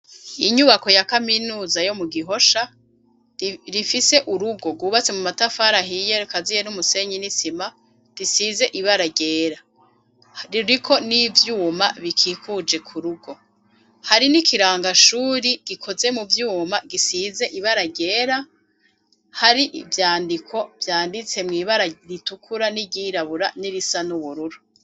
Inyubako ya kaminuza yo mu gihosha rifise urugo rwubatse mu matafara ahiye kaziye n'umusenyi n'isima risize ibara ryera ririko n'ivyuma bikikuje ku rugo hari n'ikirangashuri gikoze mu vyuma gisize ibara ryera hari ivyandiko vyanditse mwibara ritukura n'iryirabura n'irisa n'ubururu.